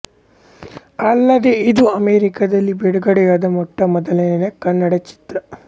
ಅಲ್ಲದೇ ಇದು ಅಮೆರಿಕಾದಲ್ಲಿ ಬಿಡುಗಡೆಯಾದ ಮೊಟ್ಟ ಮೊದಲನೇ ಕನ್ನಡ ಚಿತ್ರ